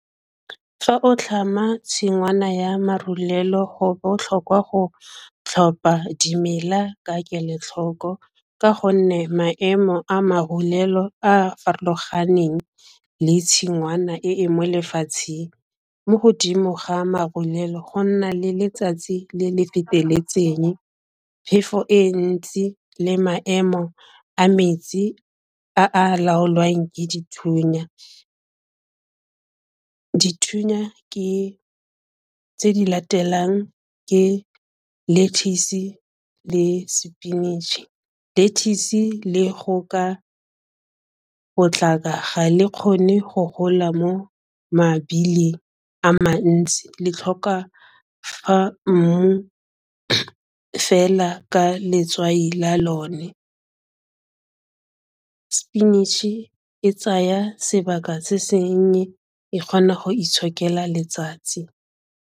Fa o tlhama tshingwana ya marulelo go botlhokwa go tlhopha dimela ka kelotlhoko ka gonne maemo a marurelo a a farologaneng le tshingwana e e mo lefatsheng mo godimo ga marulelo, go nna le letsatsi le le feteletseng, phefo e ntsi, le maemo a metsi a a laolwang ke dithunya. Dithunya ke tse di latelang ke lettuce le spinach. Lettuce le go ka potlaka ga le kgone go gola mo mabili a mantsi le tlhoka fa mmu fela ka letswai la lone, spinach e tsaya sebaka se seng e kgona go itshokela letsatsi.